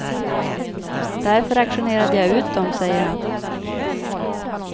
Därför auktionerade jag ut dem, säger han.